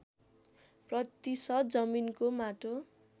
प्रतिशत जमिनको माटो